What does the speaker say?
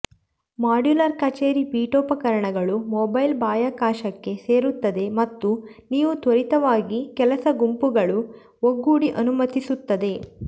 modular ಕಚೇರಿ ಪೀಠೋಪಕರಣಗಳು mobile ಬಾಹ್ಯಾಕಾಶಕ್ಕೆ ಸೇರಿಸುತ್ತದೆ ಮತ್ತು ನೀವು ತ್ವರಿತವಾಗಿ ಕೆಲಸ ಗುಂಪುಗಳು ಒಗ್ಗೂಡಿ ಅನುಮತಿಸುತ್ತದೆ